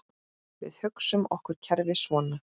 Við hugsum okkur kerfið svona